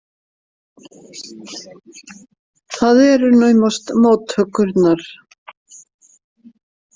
Það eru naumast móttökurnar.